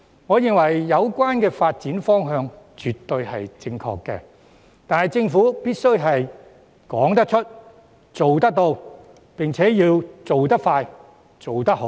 我認為有關發展方向絕對正確，但政府必須說得出、做得到，並且要做得快、做得好。